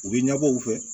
U bɛ ɲɛbɔ u fɛ